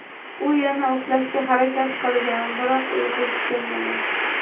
U yana uxlashga harakat qilgan, biroq uyqusi kelmagan.